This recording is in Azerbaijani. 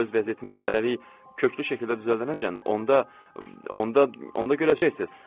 Öz vəziyyətimi hələlik köklü şəkildə düzəldəcəyəm, onda onda onda görəcəksiniz.